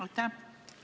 Aitäh!